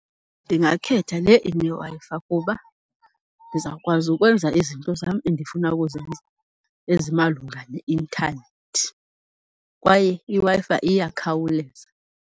Ndingakhetha le ineWi-Fi kuba ndizawukwazi ukwenza izinto zam endifuna ukuzenza ezimalunga neintanethi kwaye iWi-Fi iyakhawuleza.